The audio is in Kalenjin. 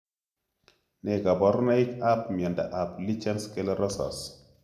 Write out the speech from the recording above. Ne kaparunaik ap miondo ap lichen sclerosus?